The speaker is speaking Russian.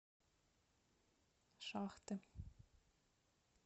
шахты